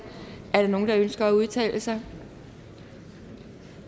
er der nogen der ønsker at udtale sig